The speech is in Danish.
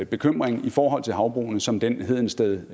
bekymring i forhold til havbrugene som den hedensted